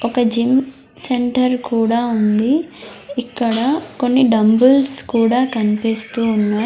ఒక gym centre కూడా ఉంది ఇక్కడ కొన్ని డంబుల్స్ కూడా కనిపిస్తూ ఉన్నాయి.